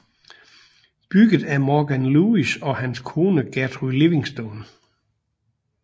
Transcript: Bygget af Morgan Lewis og hans kone Gertrude Livingston